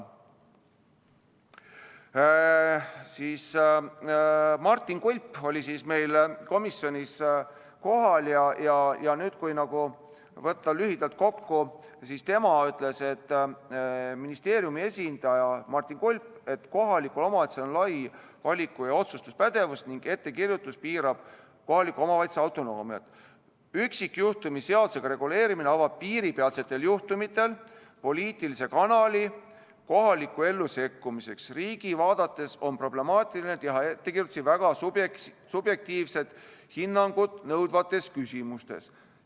Ministeeriumi esindaja Martin Kulp oli komisjonis kohal ja kui võtta lühidalt kokku, siis ta ütles, et kohalikul omavalitsusel on lai valiku- ja otsustuspädevus ning ettekirjutus piirab kohaliku omavalitsuse autonoomiat, üksikjuhtumi seadusega reguleerimine avab piiripealsetel juhtumitel poliitilise kanali kohalikku ellu sekkumiseks ning riigi vaates on problemaatiline teha ettekirjutusi väga subjektiivset hinnangut nõudvates küsimustes.